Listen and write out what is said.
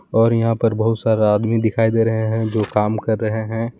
और यहां पर बहुत सारा आदमी दिखाई दे रहे हैं जो काम कर रहे हैं।